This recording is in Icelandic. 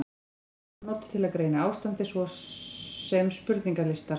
Ýmis próf eru notuð til að greina ástandið, svo og spurningalistar.